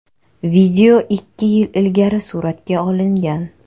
Video ikki yil ilgari suratga olingan.